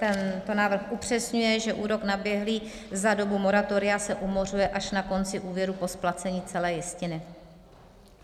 Tento návrh upřesňuje, že úrok naběhlý za dobu moratoria se umořuje až na konci úvěru po splacení celé jistiny.